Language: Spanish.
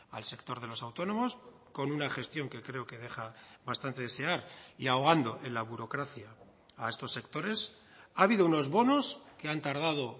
al sector de los autónomos con una gestión que creo que deja bastante desear y ahogando en la burocracia a estos sectores ha habido unos bonos que han tardado